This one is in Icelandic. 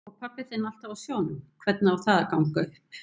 Og pabbi þinn alltaf á sjónum, hvernig á það að ganga upp?